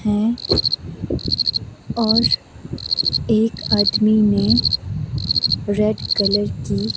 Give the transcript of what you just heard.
है और एक आदमी ने रेड कलर की--